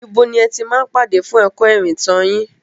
Ibo ni ẹ ti máa ń pàdé fún ẹ̀kọ́ ìrìntàn yín?